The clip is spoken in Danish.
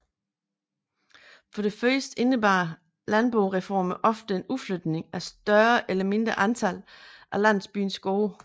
For det første indebar landboreformerne ofte en udflytning af et større eller mindre antal af landsbyens gårde